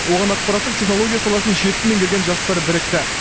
оған ақпараттық технология саласын жетік меңгерген жастар бірікті